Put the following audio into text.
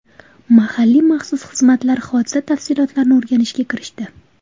Mahalliy maxsus xizmatlar hodisa tafsilotlarini o‘rganishga kirishdi.